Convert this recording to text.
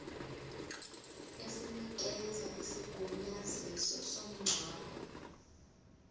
esinikeza isigunyaziso somngcwabo